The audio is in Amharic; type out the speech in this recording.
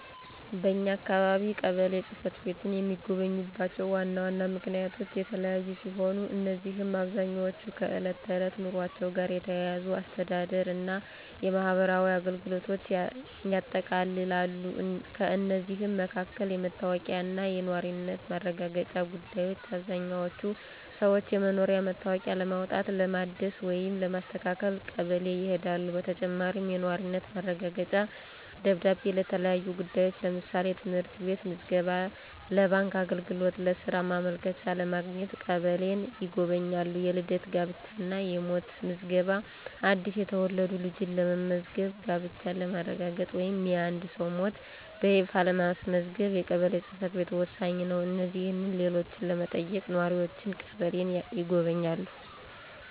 በኛ አካባቢ ቀበሌ ጽ/ቤትን የሚጎበኙባቸው ዋና ዋና ምክንያቶች የተለያዩ ሲሆኑ፣ እነዚህም በአብዛኛው ከዕለት ተዕለት ኑሯቸው ጋር የተያያዙ የአስተዳደር እና የማህበራዊ አገልግሎቶችን ያጠቃልላሉ። ከእነዚህም መካከል: * የመታወቂያ እና የነዋሪነት ማረጋገጫ ጉዳዮች: አብዛኛዎቹ ሰዎች የመኖሪያ መታወቂያ ለማውጣት፣ ለማደስ ወይም ለማስተካከል ቀበሌ ይሄዳሉ። በተጨማሪም፣ የነዋሪነት ማረጋገጫ ደብዳቤ ለተለያዩ ጉዳዮች (ለምሳሌ: ለትምህርት ቤት ምዝገባ፣ ለባንክ አገልግሎት፣ ለሥራ ማመልከቻ) ለማግኘት ቀበሌን ይጎበኛሉ። * የልደት፣ የጋብቻ እና የሞት ምዝገባ: አዲስ የተወለደ ልጅን ለማስመዝገብ፣ ጋብቻን ለማረጋገጥ ወይም የአንድን ሰው ሞት በይፋ ለማስመዝገብ የቀበሌ ጽ/ቤት ወሳኝ ነው። እነዚህንና ሌሎችን ለመጠየቅ ነዋሪዎች ቀበሌን ይጎበኛሉ።